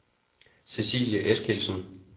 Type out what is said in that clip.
Cecilie Eskildsen